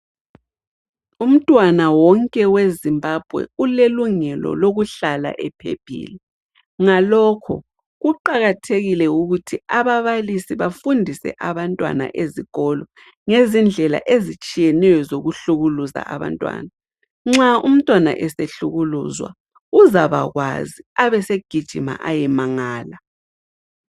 Umntwana wonke weZimbabwe ulelungelo lokuhlala ephephile , ngalokho kuqakathekile ukuthi ababalisi bafundise abantwana ezikolo, ngezindlela ezitshiyeneyo zokuhlukuluza abantwana. Nxa umntwana esehlukuluzwa uzabakwazi abesegijima ayemangala.